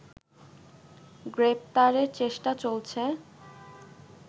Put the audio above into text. গ্রেপ্তারের চেষ্টা চলছে